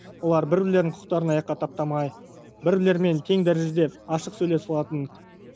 олар бір бірлерінің құқықтарын аяққа таптамай бір бірлерімен тең дәрежеде ашық сөйлесе алатын